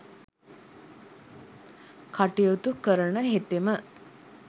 කටයුතු කරන හෙතෙම